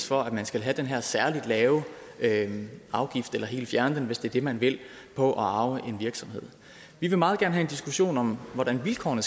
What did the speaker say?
for at man skal have den her særligt lave lave afgift eller helt fjerne den hvis det er det man vil på at arve en virksomhed vi vil meget gerne have en diskussion om hvordan vilkårene